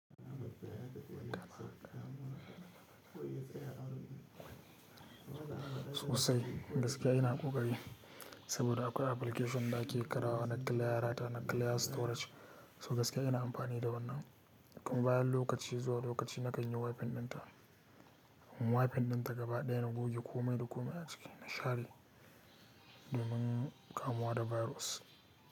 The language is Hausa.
Sosai gaskiya ina ƙoƙari saboda akwai application da ake karawa naggin layara ta naggin layar storage. So gaskiya ina amfani da wannan kuma bayan lokaci zuwa lokaci na kai yi wi-fi din ta. Wi-fi din ta gaba ɗaya na goge komai da komai a ciki na share domin kamuwa da virus.